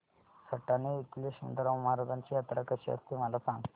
सटाणा येथील यशवंतराव महाराजांची यात्रा कशी असते मला सांग